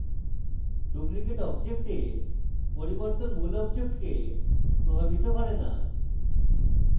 duplicate object পরিবর্তন মূল অবজেক্টকে প্রভাবিত করে the